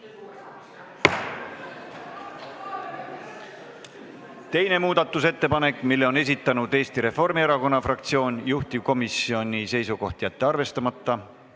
Ka teise muudatusettepaneku on esitanud Eesti Reformierakonna fraktsioon ja juhtivkomisjoni seisukoht on jätta see arvestamata.